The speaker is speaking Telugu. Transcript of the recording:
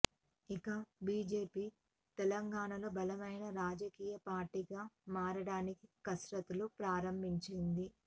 ఇక బీజేపీ తెలంగాణలో బలమైన రాజకీయ పార్టీగా మారటానికి కసరత్తులు ప్రారంభించింది